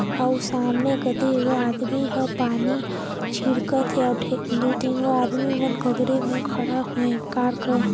अऊ सामने कति जागर आदमी हा पानी छिड़कत हे दु ठिन गो आदमी मन कारकों मेर खड़ा हे और कार गो--